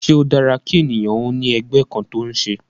Ṣé ó dára kí ènìyàn ó ní ẹgbẹ́ kan tó ń ṣe?